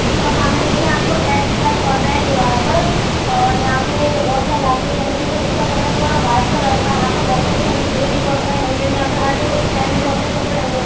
और सामने देखिए आप को टैग दिखाई पड़ रहे है दीवाल पर और यहाँ पे बहोत सारी लाइटें जल रही हैं जो उसका कलर थोड़ा व्हाइट कलर का है। यहाँ पे बॉक्सेस भी है। यहाँ पे भीड़ भी बहुत सारी लगी हुई है यहाँ पे हर स्टैंड में बहोत सारे कपड़े टंगे हुए --